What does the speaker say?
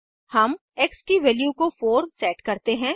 हम एक्स की वैल्यू को 4 सेट करते हैं